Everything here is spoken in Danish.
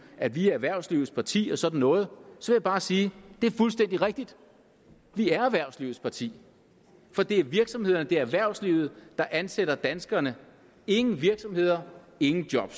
at vi er erhvervslivets parti og sådan noget så vil jeg bare sige at det er fuldstændig rigtigt vi er erhvervslivets parti for det er virksomhederne det er erhvervslivet der ansætter danskerne ingen virksomheder ingen job